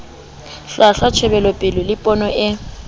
hlwahlwa tjhebelopele le pono e